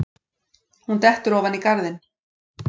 Hún dettur ofan í garðinn.